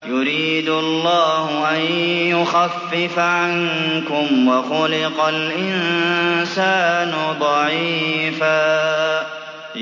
يُرِيدُ اللَّهُ أَن يُخَفِّفَ عَنكُمْ ۚ وَخُلِقَ الْإِنسَانُ ضَعِيفًا